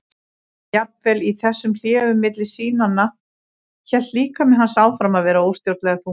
Jafnvel í þessum hléum milli sýnanna hélt líkami hans áfram að vera óstjórnlega þungur.